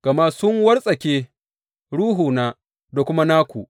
Gama sun wartsake ruhuna da kuma naku.